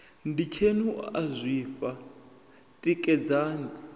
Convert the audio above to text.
nditsheni u a zwifha tikedzani